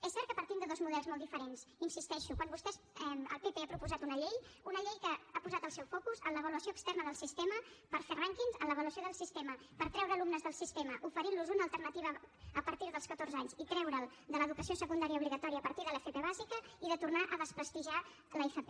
és cert que partim de dos models molt diferents hi insisteixo quan vostès el pp han proposat una llei una llei que ha posat el seu focus en l’avaluació externa del sistema per fer rànquings en l’avaluació del sistema per treure alumnes del sistema oferintlos una alternativa a partir dels catorze anys i treure’ls de l’educació secundaria obligatòria a partir de l’fp bàsica i a tornar a desprestigiar l’fp